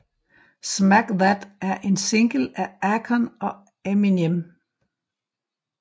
Smack That er en single af Akon og Eminem